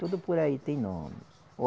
Tudo por aí tem nome.